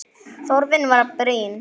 Þörfin var brýn.